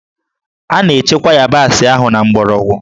A na-echekwa yabasị ahụ na mgbọrọgwụ